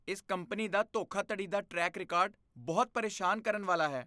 ਇਸ ਕੰਪਨੀ ਦਾ ਧੋਖਾਧੜੀ ਦਾ ਟਰੈਕ ਰਿਕਾਰਡ ਬਹੁਤ ਪ੍ਰੇਸ਼ਾਨ ਕਰਨ ਵਾਲਾ ਹੈ।